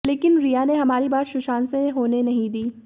लेकिन रिया ने हमारी बात सुशांत से होने नहीं दी